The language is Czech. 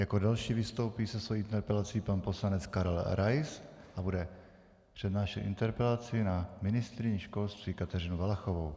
Jako další vystoupí se svojí interpelací pan poslanec Karel Rais a bude přednášet interpelaci na ministryni školství Kateřinu Valachovou.